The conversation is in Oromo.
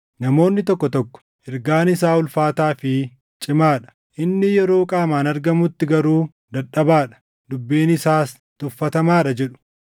Namoonni tokko tokko, “Ergaan isaa ulfaataa fi cimaa dha; inni yeroo qaamaan argamutti garuu dadhabaa dha; dubbiin isaas tuffatamaa dha” jedhu.